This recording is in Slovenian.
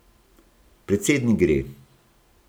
Predsednik gre!